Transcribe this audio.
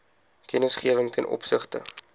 kennisgewing ten opsigte